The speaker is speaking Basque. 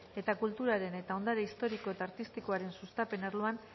eta kulturaren eta ondare historiko eta artistikoaren sustapen arloan